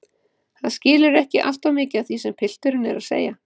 Hann skilur ekki alltof mikið af því sem pilturinn er að segja.